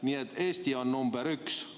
Nii et Eesti on nr 1.